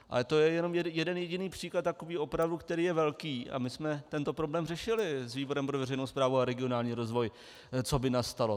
Ale to je jenom jeden jediný příklad, takový opravdu, který je velký, a my jsme tento problém řešili s výborem pro veřejnou správu a regionální rozvoj, co by nastalo.